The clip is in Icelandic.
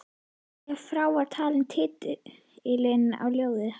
Ef frá var talinn titillinn á ljóði